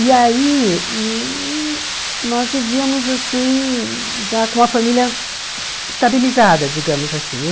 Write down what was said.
E aí, nós vivíamos assim, já com a família estabilizada, digamos assim. Eu